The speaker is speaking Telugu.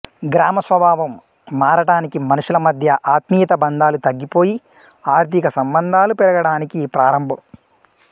గ్రామస్వభావం మారటానికీ మనుషుల మధ్య ఆత్మీయతాబంధాలు తగ్గిపోయి ఆర్థిక సంబంధాలు పెరగటానికీ ప్రారంభం